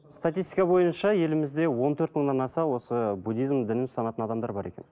статистика бойынша елімізде он төрт мыңнан аса осы буддизм дінін ұстанатын адамдар бар екен